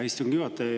Hea istungi juhataja!